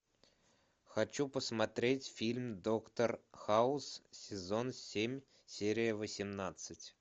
хочу посмотреть фильм доктор хаус сезон семь серия восемнадцать